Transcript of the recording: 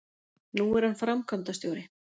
Nú er hann framkvæmdastjóri